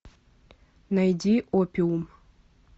найди опиум